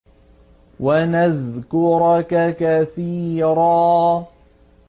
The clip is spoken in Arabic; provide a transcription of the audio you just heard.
وَنَذْكُرَكَ كَثِيرًا